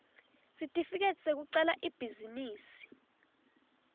sitifiketi sekucala ibhizinisi